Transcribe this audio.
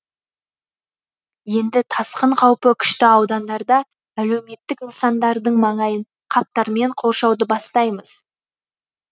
енді тасқын қаупі күшті аудандарда әлеуметтік нысандардың маңайын қаптармен қоршауды бастаймыз